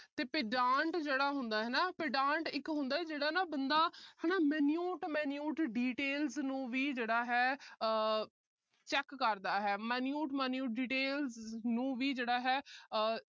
ਤੇ pedant ਜਿਹੜਾ ਹੁੰਦਾ pedant ਇੱਕ ਹੁੰਦਾ ਹੈ ਹਨਾ ਜਿਹੜਾ ਬੰਦਾ ਹਨਾ ਜਿਹੜਾ minute minute details ਨੂੰ ਵੀ ਜਿਹੜਾ ਹੈ ਆਹ check ਕਰਦਾ ਹੈ minute minute details ਨੂੰ ਵੀ ਜਿਹੜਾ ਹੈ ਆਹ